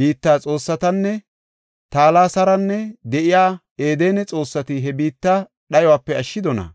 biitta xoossatinne Talasaaran de7iya Edene xoossati he biitta dhayope ashshidonaa?